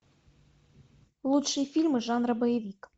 лучшие фильмы жанра боевик